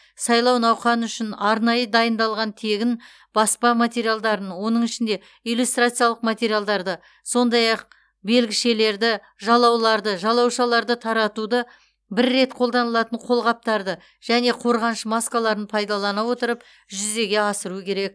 сайлау науқаны үшін арнайы дайындалған тегін баспа материалдарын оның ішінде иллюстрациялық материалдарды сондай ақ белгішелерді жалауларды жалаушаларды таратуды бір рет қолданылатын қолғаптарды және қорғаныш маскаларын пайдалана отырып жүзеге асыру керек